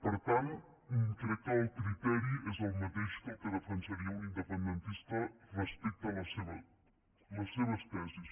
per tant crec que el criteri és el mateix que el que defensaria un independentista respecte a les seves tesis